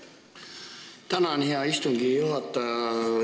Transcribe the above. Tänan, hea istungi juhataja!